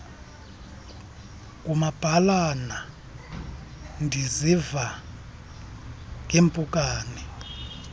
ngumabhalana ndisiva ngeeempukane